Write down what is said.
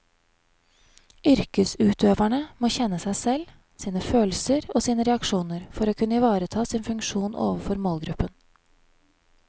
Yrkesutøverne må kjenne seg selv, sine følelser og sine reaksjoner for å kunne ivareta sin funksjon overfor målgruppen.